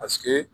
Paseke